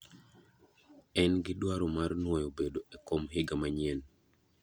En gi dwaro mar nuoyo bedo e kom higa manyien.